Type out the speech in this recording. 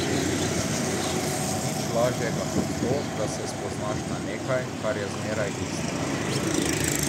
Nič ni lažjega kot to, da se spoznaš na nekaj, kar je zmeraj isto.